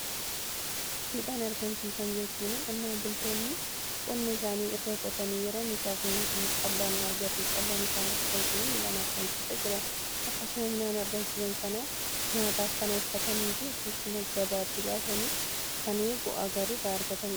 midhaan argamsiisaa jechuun qonnaan bultoonni qonna isaanii erga qotanii yeroon isaa gahetttii callaa argatu. callaan isaan argatan suni midhaan argamsiisaa jedhama. akkasuma midhaan argamsiisan sana nyaataaf kan olfatanii fi yookiin gabaatti baasanii kan bu'aa gar irraa argataniidha.